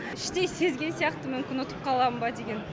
іштей сезген сияқтымын мүмкін ұтып қалам ба деген